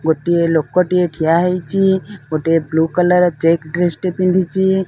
ଗୋଟିଏ ଲୋକଟିଏ ଠିଆ ହେଇଚି ଗୋଟିଏ ବ୍ଲୁ କଲର୍ ଚେକ୍ ଡ୍ରେସ୍ ଟେ ପିନ୍ଧିଚି।